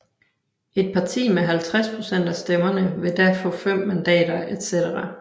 Et parti med 50 procent af stemmerne vil da få fem mandater etc